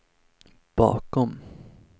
bakom